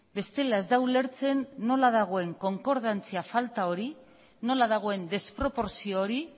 bestela ez da ulertzen nola dagoen konkordantzia falta hori nola dagoen desproportzio hori